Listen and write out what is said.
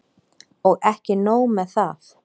Og ekki nóg með það.